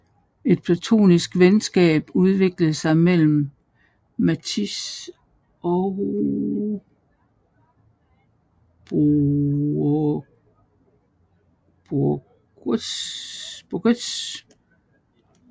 Et platonisk venskab udviklede sig imellem Matisse og Bourgeois